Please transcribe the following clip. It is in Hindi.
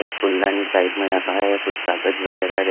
एक पुलदानी साइड में रखा है कुछ कागज वगैरह।